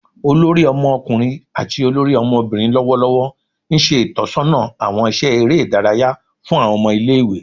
olori Ọmọkunrin ati olori ọmọbirin lọwọlọwọ nṣe itọsọna awọn iṣẹ ere idaraya fun awọn ọmọ ile-iwe